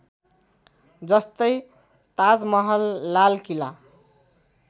जस्तै ताज महल लाल किला